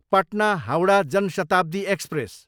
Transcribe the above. Patna, Howrah Jan Shatabdi express